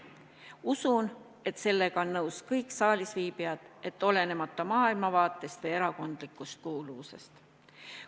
Usun, et sellega on nõus kõik saalis viibijad, olenemata maailmavaatest ja erakondlikust kuuluvusest.